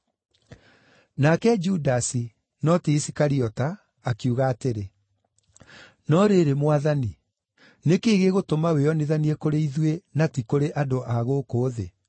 Nake Judasi (no ti Isikariota) akiuga atĩrĩ, “No rĩrĩ Mwathani, nĩ kĩĩ gĩgũtũma wĩonithanie kũrĩ ithuĩ na ti kũrĩ andũ a gũkũ thĩ?”